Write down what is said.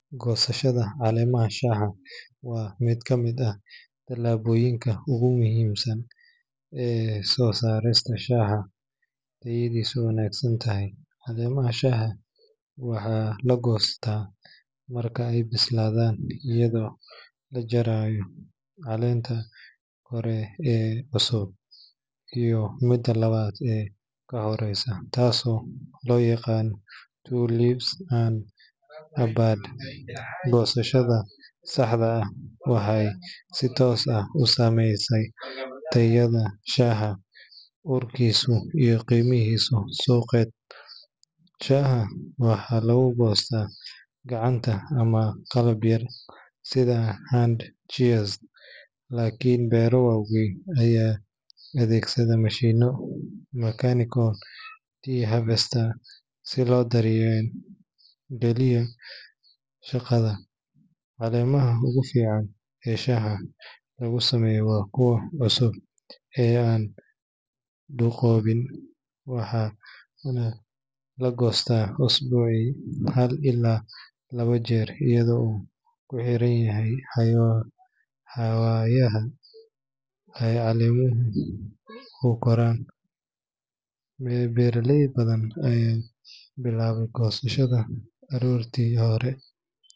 Goosashada caleemaha shaaha waa mid ka mid ah tallaabooyinka ugu muhiimsan ee soo saarista shaaha tayadiisu wanaagsan tahay. Caleemaha shaaha waxaa la goostaa marka ay bislaadaan, iyadoo la jarayo caleenta kore ee cusub iyo midda labaad ee ka hooseysa, taasoo loo yaqaan two leaves and a bud. Goosashada saxda ah waxay si toos ah u saameysaa tayada shaaha, urkiisa, iyo qiimihiisa suuqeed. Shaaha waxaa lagu goostaa gacanta ama qalab yar sida hand shears, laakiin beero waaweyn ayaa adeegsada mashiinno mechanical tea harvesters si loo dardar geliyo shaqada. Caleemaha ugu fiican ee shaaha lagu sameeyo waa kuwa cusub ee aan duqoobin, waxaana la goostaa usbuucii hal ilaa laba jeer iyadoo ku xiran xawaaraha ay caleemuhu u koraan. Beeraley badan ayaa bilaaba goosashada aroortii hore.